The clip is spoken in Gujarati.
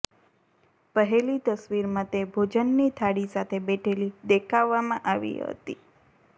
પહેલી તસવીરમાં તે ભોજનની થાળી સાથે બેઠેલી દેખાવવામાં આવી હતી